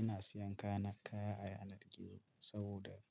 Ina siyan kaya a yanar gizo saboda